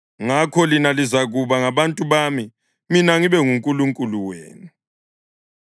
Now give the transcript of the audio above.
‘Ngakho lina lizakuba ngabantu bami, mina ngibe nguNkulunkulu wenu.’ ”